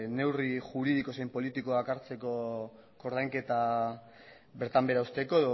neurri juridiko zein politikoak hartzeko ordainketak bertan behera uzteko